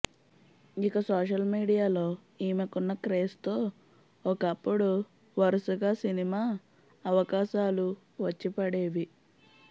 ఇక సోషల్ మీడియాలో ఈమెకున్న క్రేజ్తో ఒకప్పుడు వరుసగా సినిమా అవకాశాలు వచ్చి పడేవి